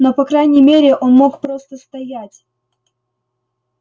но по крайней мере он мог просто стоять